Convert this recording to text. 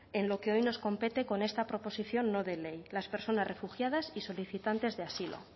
en lo que hoy nos compete con esta proposición no de ley las personas refugiadas y solicitantes de asilo